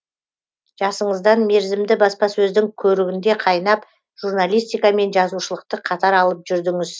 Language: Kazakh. жасыңыздан мерзімді баспасөздің көрігінде қайнап журналистика мен жазушылықты қатар алып жүрдіңіз